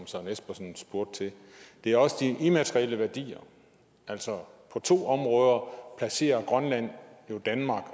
søren espersen spurgte til det er også de immaterielle værdier altså på to områder placerer grønland jo danmark